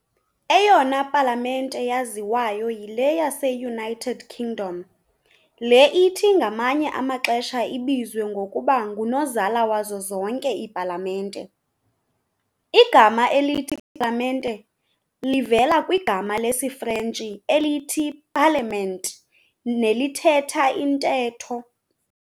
Eyona palamente yaziwayo yile yase-United Kingdom, le ithi ngamanye amaxesha ibizwe ngokuba ng"unozala wazo zonke iipalamente". igama elithi "palamente" livela kwigama lesiFrntshi elithi "parlement", nelithetha intetho.